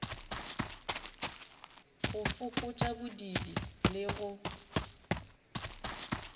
go fokotša bodiidi le go